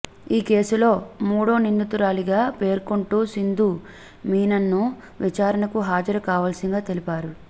ఈ కేసులో మూడో నిందితురాలిగా పేర్కొంటూ సింధు మీనన్ను విచారణకు హాజరు కావాల్సిందిగా తెలిపారు